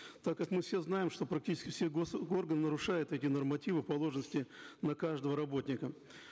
так как мы все знаем что практически все гос органы нарушают эти нормативы положенности на каждого работника